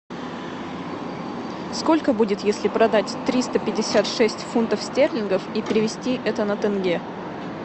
сколько будет если продать триста пятьдесят шесть фунтов стерлингов и перевести это на тенге